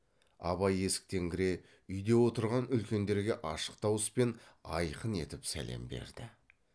абай есіктен кіре үйде отырған үлкендерге ашық дауыспен айқын етіп сәлем берді